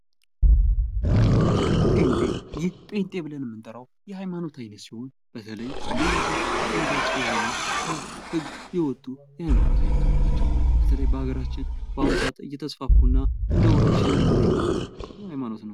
ጴንጤ ይህ ጴንጤ ብለን የምንጠራው የሐይማኖት አይነት ሲሆን በተለይም እነዚህ አፈንጋጭ የሆኑ ከህግ የወጡ የሀይማኖት አይነቶች ናቸው። በተለይ በሀገራችን በአሁን ሰዓት እተስፋፋ እና እንደ ወረርሽኝ እየሆኑ የመጡ የሐይማኖት አይነት ነው።